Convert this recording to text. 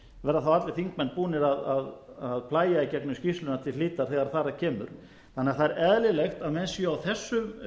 verða þá allir þingmenn búnir að plægja í gegnum skýrsluna til hlítar þegar þar að kemur það er því eðlilegt að menn séu á þessum